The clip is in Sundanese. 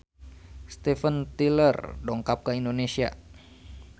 Steven Tyler dongkap ka Indonesia